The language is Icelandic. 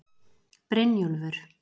Brynjúlfur